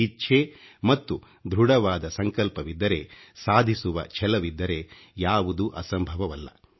ಇಚ್ಛೆ ಮತ್ತು ಧೃಡವಾದ ಸಂಕಲ್ಪವಿದ್ದರೆ ಸಾಧಿಸುವ ಛಲವಿದ್ದರೆ ಯಾವುದೂ ಅಸಂಭವವಲ್ಲ